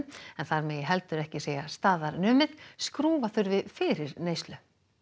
en þar megi heldur ekki segja staðar numið skrúfa þurfi fyrir neyslu